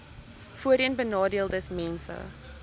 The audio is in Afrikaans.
voorheenbenadeeldesmense